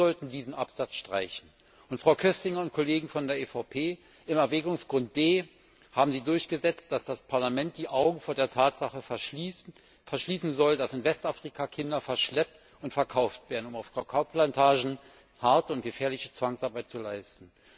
Wir sollten diesen Absatz streichen. Frau Köstinger und Kolleginnen und Kollegen von der EVP, im Erwägungsgrund D haben Sie durchgesetzt, dass das Parlament die Augen vor der Tatsache verschließen soll, dass in Westafrika Kinder verschleppt und verkauft werden, um auf Kakaoplantagen harte und gefährliche Zwangsarbeit zu leisten.